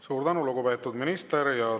Suur tänu, lugupeetud minister!